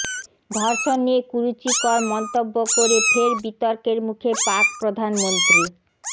ধর্ষণ নিয়ে কুরুচিকর মন্তব্য করে ফের বিতর্কের মুখে পাক প্রধানমন্ত্রী